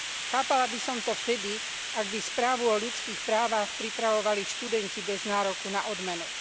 Chápala by som to vtedy, ak by správu o ľudských právach pripravovali študenti bez nároku na odmenu.